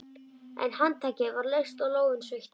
En handtakið var laust og lófinn sveittur.